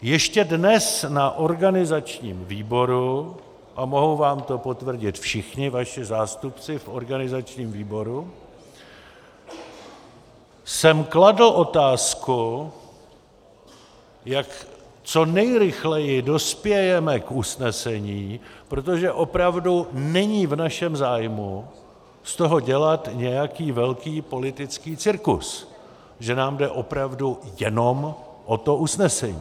Ještě dnes na organizačním výboru, a mohou vám to potvrdit všichni vaši zástupci v organizačním výboru, jsem kladl otázku, jak co nejrychleji dospějeme k usnesení, protože opravdu není v našem zájmu z toho dělat nějaký velký politický cirkus, že nám jde opravdu jenom o to usnesení.